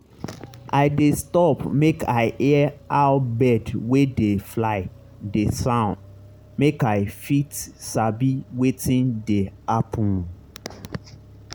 i dey stop make i hear how bird wey dey fly dey sound make i fit sabi wetin dey happen.